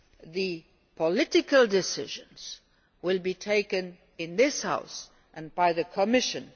The political decisions will be taken in this House and by the Commission.